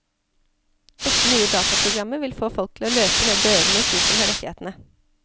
Dette nye dataprogrammet vil få folk til å løpe ned dørene hos de som har rettighetene.